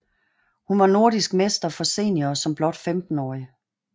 Hun var nordisk mester for senior som blot 15 årig